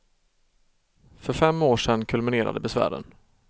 För fem år sedan kulminerade besvären.